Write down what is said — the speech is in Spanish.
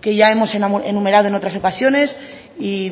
que ya hemos enumerado en otras ocasiones y